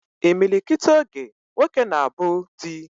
Imilikiti oge, nwoke na abu di